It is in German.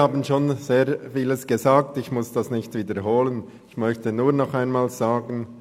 Ich muss nicht wiederholen, was meine Vorredner gesagt haben.